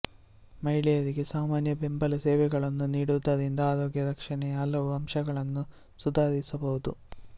ಮಹಿಳೆಯರಿಗೆ ಸಾಮಾನ್ಯ ಬೆಂಬಲ ಸೇವೆಗಳನ್ನು ನೀಡುವುದರಿಂದ ಆರೋಗ್ಯ ರಕ್ಷಣೆಯ ಹಲವು ಅಂಶಗಳನ್ನು ಸುಧಾರಿಸಬಹುದು